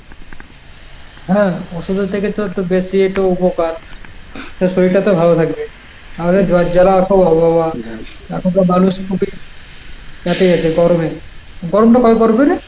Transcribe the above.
হ্যাঁ ওষুধের থেকে তো একটু বেশি একটু উপকার, তা শরীরটা তো ভালো থাকবে। আমাদের জ্বর জ্বালা খুব অভাব. এখনকার মানুষ খুবই এতে আছে গরমে, তো গরমটা কবে পড়বে রে?